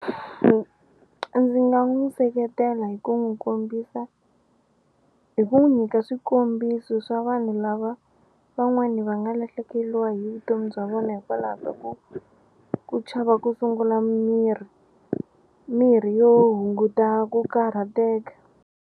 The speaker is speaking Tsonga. Ndzi nga n'wi seketela hi ku n'wi kombisa hi ku n'wi nyika swikombiso swa vanhu lava van'wani va nga lahlekeliwa hi vutomi bya vona hikwalaho ka ku ku chava ku sungula mirhi mirhi yo hunguta ku karhateka.